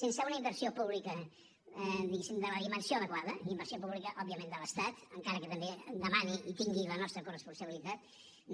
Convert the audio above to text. sense una inversió pública diguéssim de la dimensió adequada inversió pública òbviament de l’estat encara que també demani i tingui la nostra corresponsabilitat